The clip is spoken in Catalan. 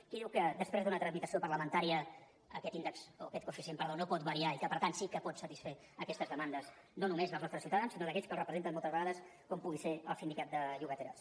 qui diu que després d’una tramitació parlamentària aquest índex o aquest coeficient perdó no pot variar i que per tant sí que pot satisfer aquestes demandes no només dels nostres ciutadans sinó d’aquells que els representen moltes vegades com pugui ser el sindicat de llogateres